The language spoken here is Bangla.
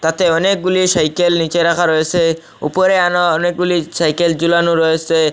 অনেকগুলি সাইকেল নীচে রাখা রয়েসে উপরে আনা অনেকগুলি চাইকেল ঝুলানো রয়েসে।